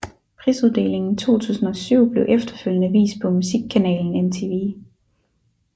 Prisuddelingen 2007 blev efterfølgende vist på musikkanalen MTV